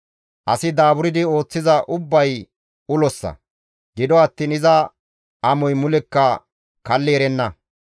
Asi daaburdi ooththiza ubbay ulossa; gido attiin iza amoy mulekka kalli erenna.